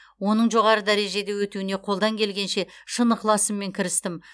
оның жоғары дәрежеде өтуіне қолдан келгенше шын ықыласыммен кірістім